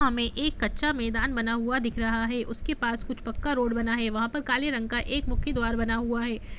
एक कच्चा मैदान बना हुआ दिख रहा है उसके पास कुछ पक्का रोड बना है वहां पर काले रंग का एक मुख्य द्वार बना हुआ है।